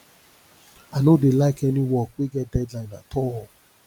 i no dey like any work wey get deadline at all